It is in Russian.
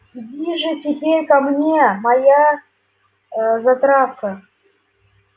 иди же теперь ко мне моя затравка